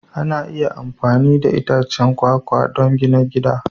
Ana iya amfani da itacen kwakwa don gina gida